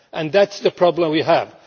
That is the problem we have.